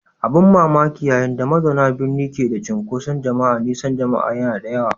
Abin ban mamaki, yayin da mazauna birni ke da cunkoson jama'a, nisan jama'a yana da yawa.